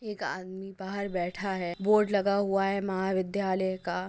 एक आदमी बाहर बैठा है बोर्ड लगा हुआ है महाविद्यालय का--